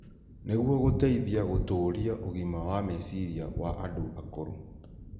nĩguo gũteithie gũtũũria ũgima wa meciria wa andũ akũrũ.